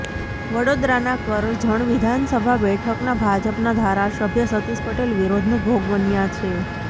વડોદરાના કરજણ વિધાનસભા બેઠકના ભાજપના ધારાસભ્ય સતીષ પટેલ વિરોધનો ભોગ બન્યા છે